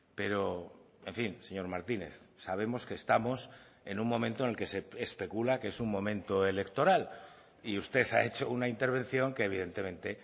pero en fin señor martínez sabemos que estamos en un momento en el que se especula que es un momento electoral y usted ha hecho una intervención que evidentemente